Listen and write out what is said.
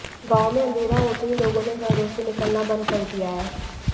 गांवों में अंधेरा होते ही लोगों ने घरों से निकलना बंद कर दिया है